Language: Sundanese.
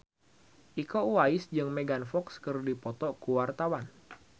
Iko Uwais jeung Megan Fox keur dipoto ku wartawan